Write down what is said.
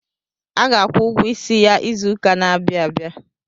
A ga-akwụ ụgwọ isi ya izụka n'abia abịa.